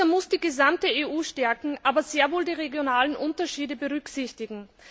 Dieser muss die gesamte EU stärken, aber sehr wohl die regionalen Unterschiede berücksichtigen.